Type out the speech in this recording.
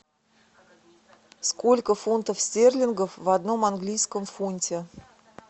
сколько фунтов стерлингов в одном английском фунте